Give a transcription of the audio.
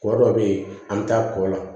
Kɔ dɔ bɛ yen an bɛ taa kɔ la